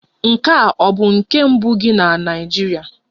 Nke a ọ bụ nke mbụ gị na Naịjirịa?